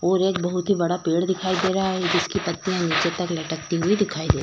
और एक बहुत ही बड़ा पेड़ दिखाई दे रहा है जिसकी पत्तियां नीचे तक लटकती हुई दिखाई दे --